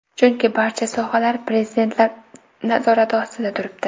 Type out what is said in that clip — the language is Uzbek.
Chunki barcha sohalar prezidentlar nazorati ostida turibdi .